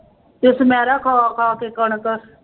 ਤੇ ਸੁਨੈਰਾ ਖਾ ਖਾ ਕੇ ਕਣਕ